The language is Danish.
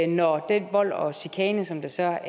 når den vold og chikane som der så er